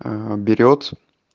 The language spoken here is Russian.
берёт